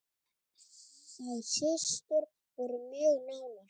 Þær systur voru mjög nánar.